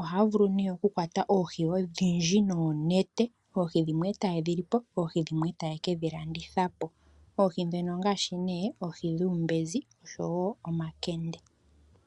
Ohaya vulu ne oku kwata oohi odhindji noonete, dhimwe eta yedhilipo dhimwe etaya kalanditha oohi ndhono ongaashi ne oohi dhuumbenzi oshowo omakende.